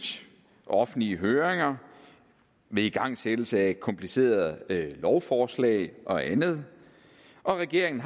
offentlige høringer ved igangsættelse af komplicerede lovforslag og andet og regeringen